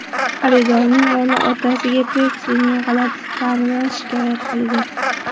Xaridorning o‘g‘li otasiga Pepsi’ning g‘alati ta’midan shikoyat qilgan.